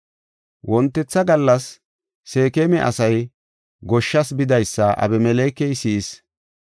Wontetha gallas Seekema asay goshshas bidaysa Abimelekey si7is.